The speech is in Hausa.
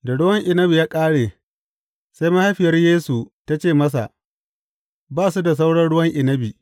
Da ruwan inabi ya ƙare, sai mahaifiyar Yesu ta ce masa, Ba su da sauran ruwan inabi.